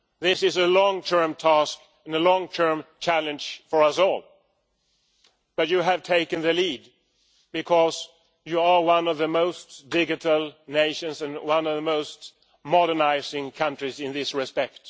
This is a long term task and a long term challenge for us all, but Estonia has taken the lead because it are one of the most digital nations and one of the most modernising countries in this respect.